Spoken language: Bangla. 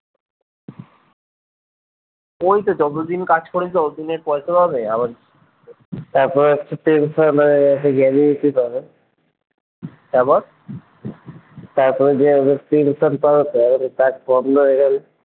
ওইতো যতদিন কাজ করেছে অতদিনের পয়সা পাবে আবার তারপর একটা পেনশন একটা gratuity পাবে তারপর তারপরে যে ঐযে কাজ বন্ধ হয়ে গেলো